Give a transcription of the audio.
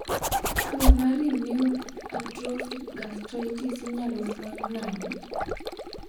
Tuo mar autoimmune atrophic gastritis inyalo fweny nade?